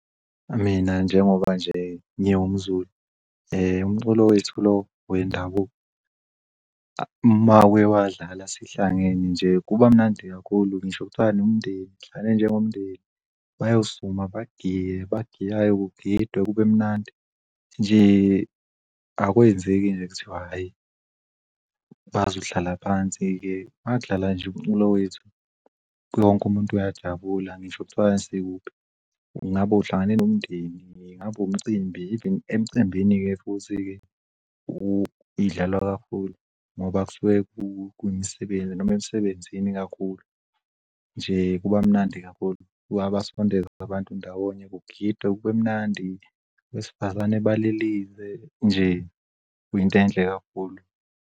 Mina njengoba nje ngiwumZulu, umculo wethu lo wendabuko mawuye wadlala sihlangene nje kuba mnandi kakhulu ngisho kuthiwa nomndeni nihlangene njengomndeni bayosukuma bagiye abagiyayo kugidwe kube mnandi. Nje akwenzeki nje kuthiwa hhayi bazohlala phansi-ke makudlala nje umculo wethu wonk'muntu uyajabula ngisho kuthiwa sikuphi ngabe uhlangane nomndeni, ngabu'mcimbi emcimbini-ke futhi-ke idlalwa kakhulu ngoba kusuke kuwumsebenzi noma emsebenzini kakhulu nje, kuba mnandi kakhulu. Kuyabasondeza abantu ndawonye, kugidwe kube mnandi wesifazane balilize nje kuyinte'nhle kakhulu.